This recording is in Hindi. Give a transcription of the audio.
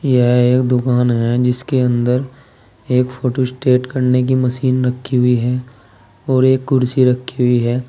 यह एक दुकान है जिसके अंदर एक फोटोस्टेट करने की मशीन रखी हुई है और एक कुर्सी रखी हुई है।